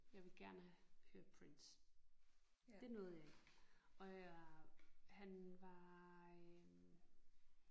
Jeg ville gerne have hørt Prince. Det nåede jeg ikke og jeg han var øh